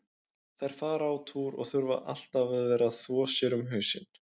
Þær fara á túr og þurfa alltaf að vera að þvo sér um hausinn.